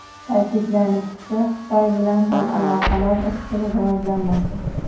Ta’kidlanishicha, Xitoy bilan ham aloqalar izchil rivojlanmoqda.